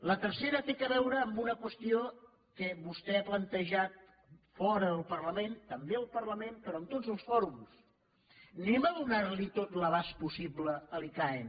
la tercera té a veure amb una qüestió que vostè ha plantejat fora del parlament també al parlament però en tots els fòrums donem tot l’abast possible a l’icaen